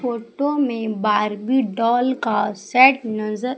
photo में Barbie doll का set नजर--